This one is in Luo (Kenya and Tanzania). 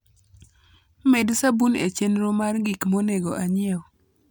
med sabun e chenro mar gik monego anyiew